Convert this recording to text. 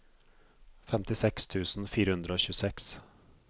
femtiseks tusen fire hundre og tjueseks